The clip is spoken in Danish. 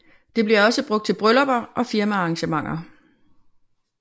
Det bliver også brugt til bryllupper og firmaarrangementer